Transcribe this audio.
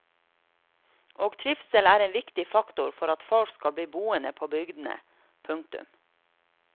Og trivsel er en viktig faktor for at folk skal bli boende på bygdene. punktum